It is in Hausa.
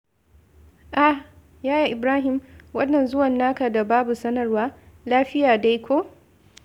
Ah! Yaya Ibrahim, wannan zuwan naka da babu sanarwar, lafiya dai ko?